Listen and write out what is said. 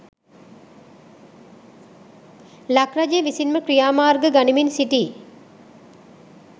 ලක් රජය විසින් ම ක්‍රියා මාර්ග ගනිමින් සිටියි